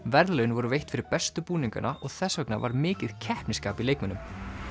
verðlaun voru veitt fyrir bestu búningana og þess vegna var mikið keppnisskap í leikmönnum